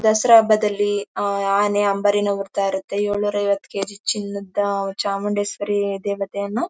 ದಸರಾ ಹಬ್ಬದಲ್ಲಿ ಆ ಆ ಆನೆ ಅಂಬರೀನ ಹೊಕ್ತಾಇರುತೇ ಏಳೂನೂರು ಐವತ್ ಕೇಜಿ ಚಿನ್ನದ ಚಾಂಬುಡೇಶ್ವರಿ ದೇವತೆಯನ್ನು--